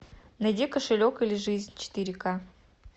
найди кошелек или жизнь четыре ка